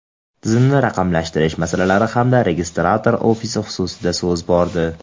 tizimni raqamlashtirish masalalari hamda registrator ofisi xususida so‘z bordi.